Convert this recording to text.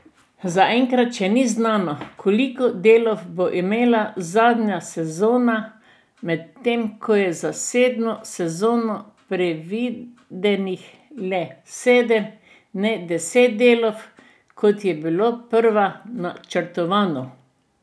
Zaenkrat še ni znano, koliko delov bo imela zadnja sezona, medtem ko je za sedmo sezono predvidenih le sedem in ne deset delov, kot je bilo sprva načrtovano.